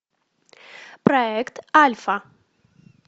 проект альфа